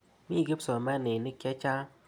Mi kipsomaninik che chang'.